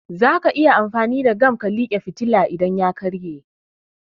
Zaka iya amfani da gam ka like fitilan idan ya karye